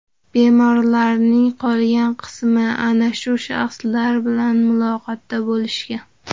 Bemorlarning qolgan qismi ana shu shaxslar bilan muloqotda bo‘lishgan.